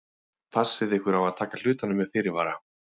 Passið ykkur á að taka hlutunum með fyrirvara.